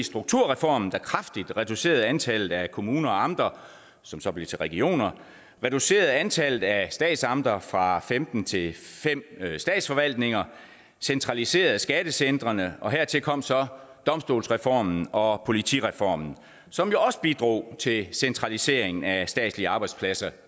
strukturreformen der kraftigt reducerede antallet af kommuner og amter som så blev til regioner reducerede antallet af statsamter fra femten til fem statsforvaltninger og centraliserede skattecentrene hertil kom så domstolsreformen og politireformen som jo også bidrog til centralisering af statslige arbejdspladser